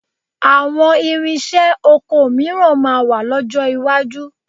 Àwọn ìrinṣẹ́ oko mìíràn máa wà lọ́jọ́ iwájú